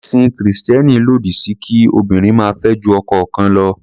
Ẹ̀sìn Kìrìsìtẹ́ẹ́nì lòdí sí kí obìnrin máa fẹ́ ju ọkọ kan lọ.